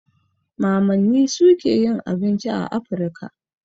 Mamanni suke yin abinci a Afrika.